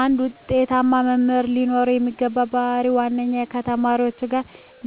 አንድ ውጤታማ መምህር ለኖረው የሚገባው ባህር ዋናው ከተማሪዎቹጋ